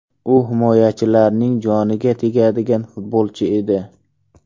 U himoyachilarning joniga tegadigan futbolchi edi.